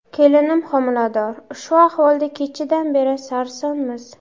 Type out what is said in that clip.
Kelinim homilador, shu ahvolda kechadan beri sarsonmiz.